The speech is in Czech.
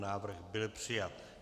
Návrh byl přijat.